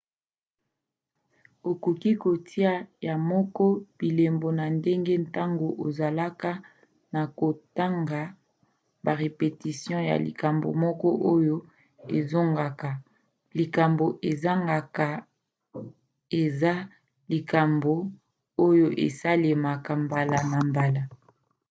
okoki kotia yo moko bilembo na ndenge ntango ezoleka na kotanga ba repetition ya likambo moko oyo ezongaka. likambo ezongaka eza likambo oyo esalemaka mbala na mbala